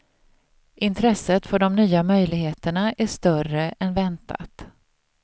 Intresset för de nya möjligheterna är större än väntat.